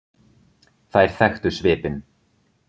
Þær þekktu svipinn.